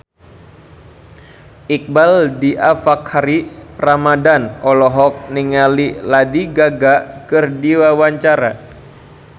Iqbaal Dhiafakhri Ramadhan olohok ningali Lady Gaga keur diwawancara